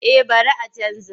Eh bari a canja.